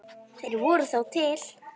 Þeir voru þó til.